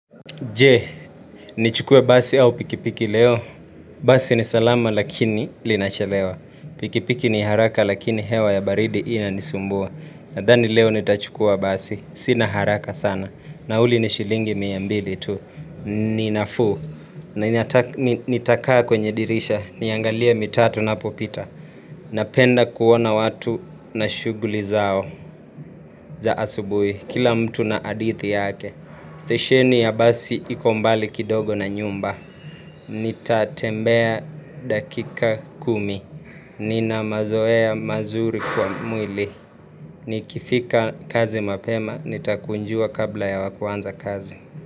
Jee, nichukue basi au pikipiki leo. Basi ni salama lakini linachelewa. Pikipiki ni haraka lakini hewa ya baridi inanisumbua. Nadhani leo nitachukua basi. Sina haraka sana. Nauli ni shilingi mia mbili tu. Ni nafuu. Nitakaa kwenye dirisha. Niangalie mitaa tunapopita. Napenda kuona watu na shughuli zao za asubuhi. Kila mtu na adithi yake. Stesheni ya basi iko mbali kidogo na nyumba Nitatembea dakika kumi. Nina mazoea mazuri kwa mwili Nikifika kazi mapema, nitakunjua kabla ya wa kuanza kazi.